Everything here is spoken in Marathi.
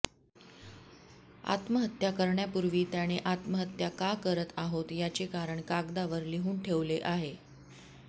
आत्महत्या करण्यापूर्वी त्याने आत्महत्या का करत आहोत याचे कारण कागदावर लिहून ठेवले आहे